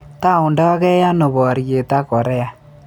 Toundagei ano boryet ak Korea